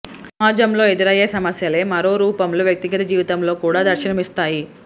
సమాజంలో ఎదురయ్యే సమస్యలే మరో రూపంలో వ్యక్తిగత జీవితంలో కూడా దర్శనమిస్తాయి